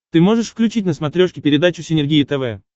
ты можешь включить на смотрешке передачу синергия тв